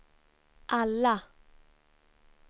alla